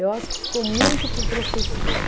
Eu acho que ficou muito para o professor.